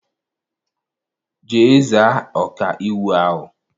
Jee za ọkaiwu ahụ!